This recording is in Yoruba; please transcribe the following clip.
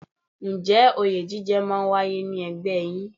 Ǹjẹ́ òye jíjẹ máa ń wáyé ní ẹgbẹ́ yín?